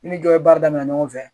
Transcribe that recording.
N ni jɔ ye baara damnɛ ɲɔgɔn fɛ